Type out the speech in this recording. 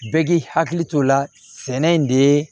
Bɛɛ k'i hakili to o la sɛnɛ in de